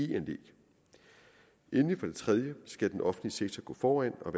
det tredje skal den offentlige sektor gå foran og